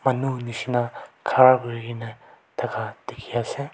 manu nishna khara kurikena thaka dekhi ase.